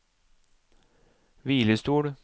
hvilestol